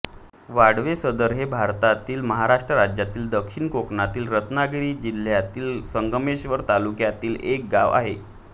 वाडवेसरद हे भारतातील महाराष्ट्र राज्यातील दक्षिण कोकणातील रत्नागिरी जिल्ह्यातील संगमेश्वर तालुक्यातील एक गाव आहे